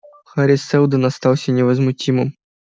хари сэлдон остался невозмутимым